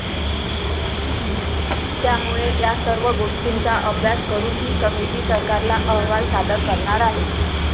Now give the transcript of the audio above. त्यामुळे यासर्व गोष्टींचा अभ्यास करून ही समिती सरकारला अहवाल सादर करणार आहे.